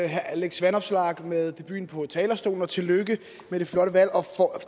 herre alex vanopslagh med debuten på talerstolen og tillykke med det flotte valg